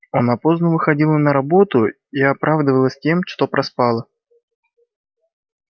она поздно выходила на работу и оправдывалась тем что проспала